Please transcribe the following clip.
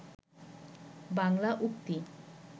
বাংলা উক্তি